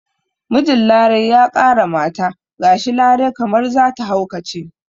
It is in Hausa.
Mijin larai ya ƙara mata gashi larai kamar zata haukace